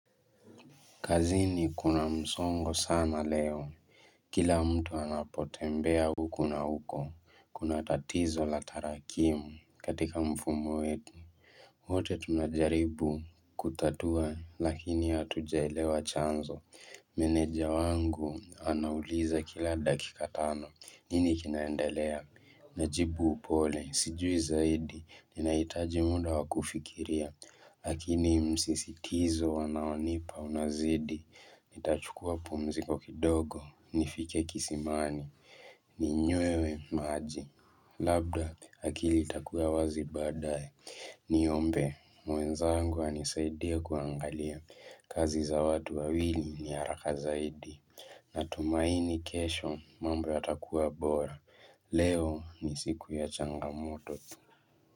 Kazini kuna msongo sana leo. Kila mtu anapotembea huko na huko. Kuna tatizo la tarakimu katika mfumo wetu. Wote tunajaribu kutatua lakini hatujaelewa chanzo. Meneja wangu anauliza kila dakika tano. Nini kinaendelea? Najibu upole. Sijui zaidi. Ninaitaji muda wa kufikiria. Lakini msisitizo wanaonipa unazidi. Nitachukua pumziikokidogo. Meneja wangu anauliza kila dakika tano. Nini kinaendelea? Najibu upole. Sijui zaidi. Ninaitaji muda wa kufikiria. Niombe, mwenzangu anisaidie kuangalia, kazi za watu wawili ni haraka zaidi Natumaini kesho, mambo yatakuwa bora, leo ni siku ya changamoto.